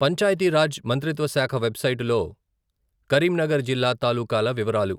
పంచాయతి రాజ్ మంత్రిత్వ శాఖ వెబ్సైటులో కరీంనగర్ జిల్లా తాలూకాల వివరాలు.